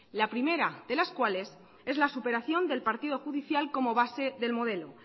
la primera de las cuales es la superación del partido judicial como base del modelo